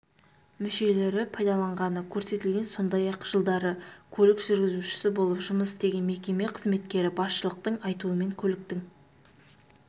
мүшелері пайдаланғаны көрсетілген сондай-ақ жылдары көлік жүргізушісі болып жұмыс істеген мекеме қызметкері басшылықтың айтуымен көліктің